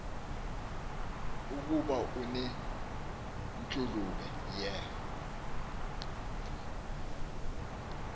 ukuba unentshulube ye